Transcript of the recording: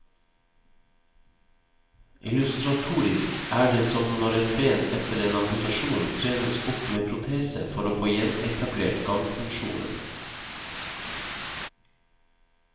Illustratorisk er det som når et ben etter en amputasjon trenes opp med protese for å få gjenetablert gangfunksjonen.